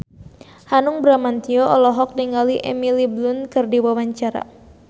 Hanung Bramantyo olohok ningali Emily Blunt keur diwawancara